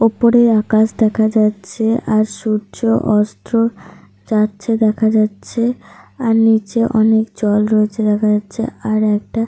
ওপরে আকাশ দেখা যাচ্ছে। আর সূর্য অস্ত যাচ্ছে দেখা যাচ্ছে। আর নিচে অনেক জল রয়েছে দেখা যাচ্ছে। আর একটা।